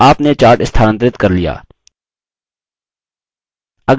आपने chart स्थानांतरित कर लिया